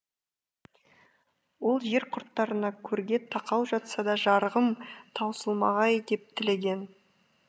ол жер құрттарына көрге тақау жатса да жарығым таусылмағай деп тілеген